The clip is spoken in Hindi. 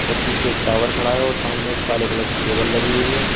पीछे एक टावर खड़ा है और सामने एक काले कलर की केबल लगी हुई है।